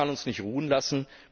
das kann uns nicht ruhen lassen.